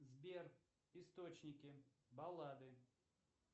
сбер источники баллады